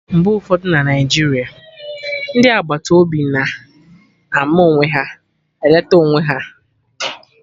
Mgbe ụfọdụ na Naijiria, ndị agbata obi na-ama onwe ha, eletekwa onwe ha anya